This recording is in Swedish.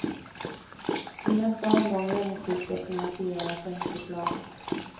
Hur nästa omgång regnskydd ska finansieras är inte klart.